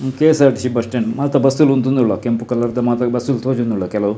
ಉಂದು KSRTC bus stand ಮಾತ bus ಲು ಉಂತೊಂದು ಉಲ್ಲ ಕೆಂಪು ಕಲರ್ದ ಮಾತ ಬಸ್ಸು ಲು ತೋಜೊಂದು ಉಲ್ಲ ಕೆಲವು.